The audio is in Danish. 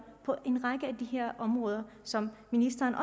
på en række af de her områder som ministeren